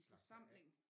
En forsamling